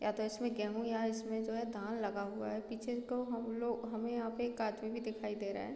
या तो इसमें गेहूँ या इसमें जो है धान लगा हुआ है पीछे तो हमलोग हमे यहाँ पे एक आदमी भी दिखाई दे रहा है।